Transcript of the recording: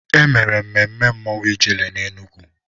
E mere mmemme mmọnwụ Ijele n'Enugwu.